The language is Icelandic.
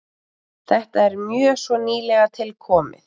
Þetta er mjög svo nýlega tilkomið.